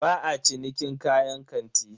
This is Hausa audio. Ba a cinikin kayan kanti.